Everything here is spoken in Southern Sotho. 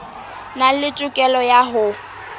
nang le tokelo ya ho